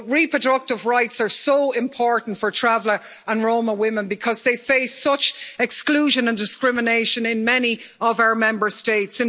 Reproductive rights are so important for Traveller and Roma women because they face such exclusion and discrimination in many of our Member States.